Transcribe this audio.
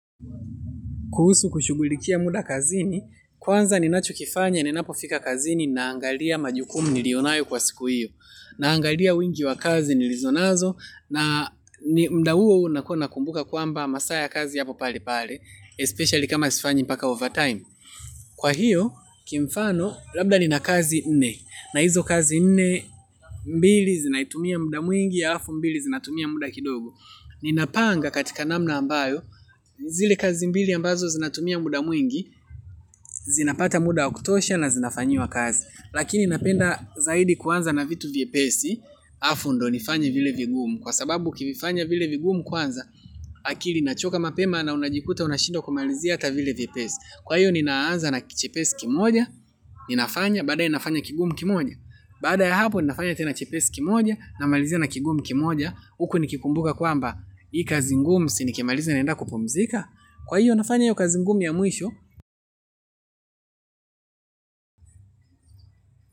Kuhusu kushughulikia muda kazini, kwanza ninachokifanya ninapofika kazini naangalia majukumu nilionayo kwa siku hiyo. Naangalia wingi wa kazi nilizonazo na muda huo unakua nakumbuka kwamba masaa ya kazi yapo pale pale, especially kama sifanyi mpaka overtime. Kwa hiyo, kimfano, labda nina kazi nne. Na hizo kazi nne, mbili zinaitumia muda mwingi ya hafu mbili zinatumia muda kidogo. Ninapanga katika namna ambayo zile kazi mbili ambazo zinatumia muda mwingi zinapata muda wa kutosha na zinafanyiwa kazi, lakini napenda zaidi kuanza na vitu vyepesi alafuundo nifanya vile vigumu kwa sababu ukivifanya vile vigumu kwanza akili inachoka mapema na unajikuta unashindwa kumalizia hata vile vyepesi. Kwa hiyo ninaanza na chepesi kimoja. Ninafanya baadaye ninafanya kigumu kimoja. Baada ya hapo ninafanya tena chepesi kimoja. Namalizia na kigumu kimoja. Huko nikikumbuka kwamba hii kazi ngumu si nikimaliza naenda kupumzika. Kwa hiyo nafanya yu kazi ngumu ya mwisho.